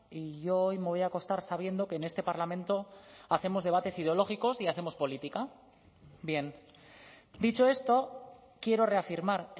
y yo hoy me voy a acostar sabiendo que en este parlamento hacemos debates ideológicos y hacemos política bien dicho esto quiero reafirmar